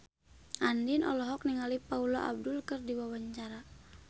Andien olohok ningali Paula Abdul keur diwawancara